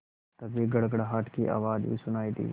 तभी गड़गड़ाहट की आवाज़ भी सुनाई दी